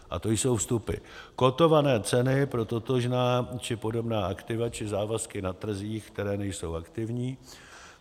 A to jsou vstupy: kotované ceny pro totožná či podobná aktiva či závazky na trzích, které nejsou aktivní;